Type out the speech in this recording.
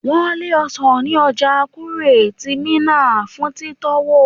Wọn lé ọsan ní ọjà Kure ti Minna fún titowo.